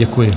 Děkuji.